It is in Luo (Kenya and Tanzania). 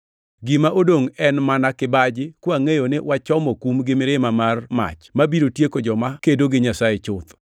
gima odongʼ en mana kibaji, kwangʼeyo ni wachomo kum gi mirima mar mach, mabiro tieko joma kedo gi Nyasaye chuth.